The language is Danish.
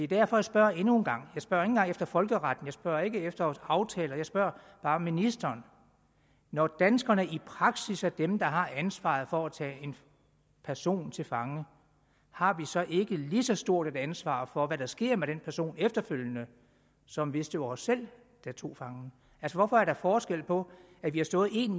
derfor jeg spørger endnu en gang jeg spørger ikke engang efter folkeretten jeg spørger ikke efter aftaler jeg spørger bare ministeren når danskerne i praksis er dem der har ansvaret for at tage en person til fange har vi så ikke lige så stort et ansvar for hvad der sker med den person efterfølgende som hvis det var os selv der tog fangen hvorfor er der forskel på at vi har stået en